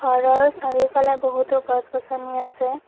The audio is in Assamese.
ঘৰৰ চাৰিওফালে বহুতো গছ গছনি আছে।